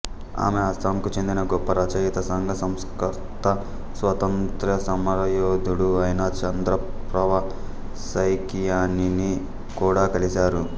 ఆమె అస్సాంకు చెందిన గొప్ప రచయిత సంఘ సంస్కర్త స్వాతంత్ర్య సమరయోధుడు అయిన చంద్రప్రవ సైకియానిని కూడా కలిశారు